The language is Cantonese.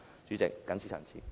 主席，謹此陳辭。